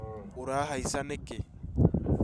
ũrahaica nĩkĩ?